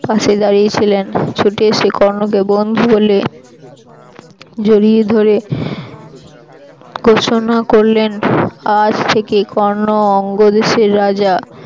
পাশে দাড়িয়ে ছিলেন ছুটে েএসে কর্ণকে বন্ধু বলে জড়িয়ে ধরে ঘোষণা করলেনআজ থেকে কর্ণ অঙ্গদেশের রাজা